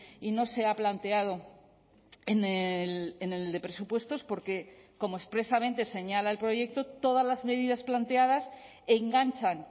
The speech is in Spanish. y no se ha planteado en el de presupuestos porque como expresamente señala el proyecto todas las medidas planteadas enganchan